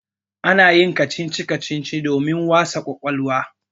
Ana yin kacici-kacici domin wasa ƙwaƙwalwa.